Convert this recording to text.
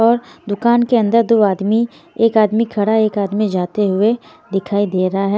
और दुकान के अंदर दो आदमी एक आदमी खड़ा एक आदमी जाते हुए दिखाई दे रहा है।